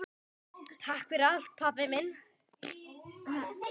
Takk fyrir allt, pabbi minn.